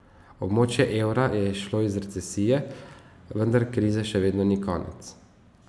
Območje evra je izšlo iz recesije, vendar krize še vedno ni konec.